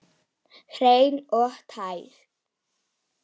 Hreinn og tær.